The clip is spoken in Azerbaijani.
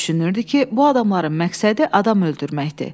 Düşünürdü ki, bu adamların məqsədi adam öldürməkdir.